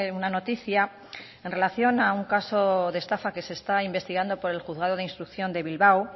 una noticia en relación a un caso de estafa que se está investigando por el juzgado de instrucción de bilbao